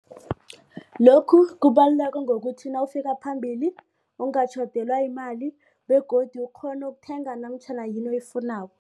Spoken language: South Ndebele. Lokhu kubaluleke ngokuthi nawufika phambili ungatjhodelwa yimali begodu ukghone ukuthenga namtjhana yini oyifunako.